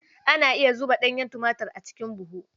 Ana iya zuba ɗanyen tumatir a cikin buhu.